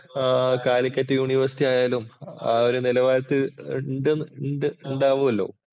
ആഹ് Calicut university ആയാലും ആ ഒരു നിലവാരത്തില്‍ ഇണ്ട് ഇണ്ട് ഇണ്ടാവുവോലോ.